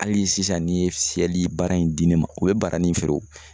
Hali sisan ni ye fiyɛli baara in di ne ma o bɛ baroni feere